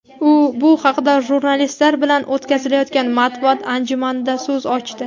U bu haqda jurnalistlar bilan o‘tkazilayotgan matbuot anjumanida so‘z ochdi.